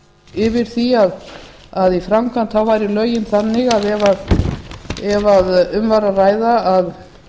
yfir því að í framkvæmd væru lögin þannig ef um væri að ræða að